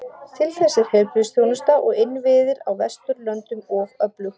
Til þess er heilbrigðisþjónusta og innviðir á Vesturlöndum of öflug.